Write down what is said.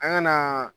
An ŋana